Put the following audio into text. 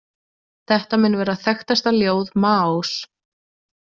Þetta mun vera þekktasta ljóð Maós.